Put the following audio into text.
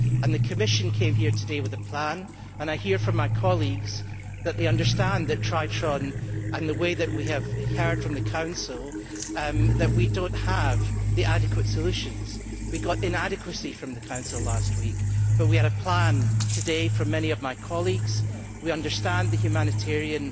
The Commission came here today with a plan, and I hear from my colleagues that they understand that Triton and what we have heard from the Council do not represent adequate solutions. We got inadequacy from the Council last week but we had a plan today from many of my colleagues. We understand the humanitarian